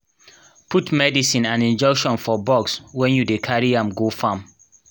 put medicine and injection for box when you dey carry am go farm